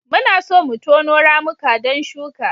Muna so mu tono ramuka don shuka.